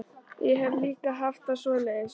Ég hef líka haft það svoleiðis.